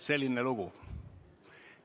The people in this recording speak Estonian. Selline lugu.